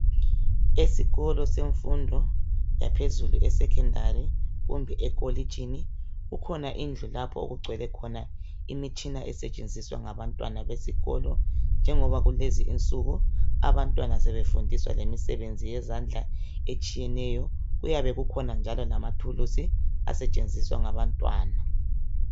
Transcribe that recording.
Esikolo semfundo yaphezulu esecondary kumbe ekolitshini kukhona indlu lapho okugcwele khona imitshina esetshenziswa ngabantwana besikolo njengoba kulezi insuku abantwana sebefundiswa lemisebenzi yezandla etshiyeneyo. Kuyabe kukhona njalo lamathulusi asetshenziswa ngabantwana.